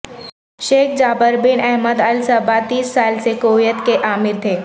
شیخ Jaber bin Ahmad Al Sabah تیس سال سے کویت کے امیر تھے